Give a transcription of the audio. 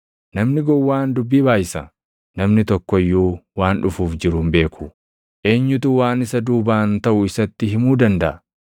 namni gowwaan dubbii baayʼisa. Namni tokko iyyuu waan dhufuuf jiru hin beeku; eenyutu waan isa duubaan taʼu isatti himuu dandaʼa?